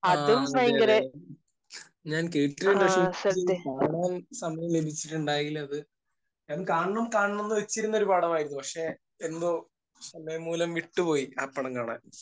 ആഹ്. അതെ. അതെ. ഞാൻ കേട്ടിട്ടുണ്ട്. പക്ഷെ എനിക്ക് അത് കാണാൻ സമയം ലഭിച്ചിട്ടുണ്ടായില്ല. അത് ഞാൻ കാണണം കാണണം എന്ന് വെച്ചിരുന്നൊരു പടമായിരുന്നു. പക്ഷെ, എന്തോ. സമയം മൂലം വിട്ട് പോയി ആ പടം കാണാൻ.